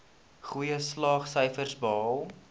goeie slaagsyfers behaal